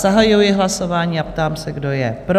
Zahajuji hlasování a ptám se, kdo je pro?